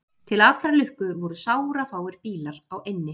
Til allrar lukku voru sárafáir bílar á eynni